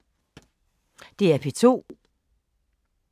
DR P2